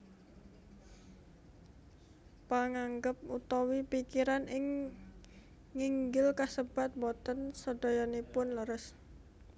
Panganggep utawi pikiran ing nginggil kasebat boten sadayanipun leres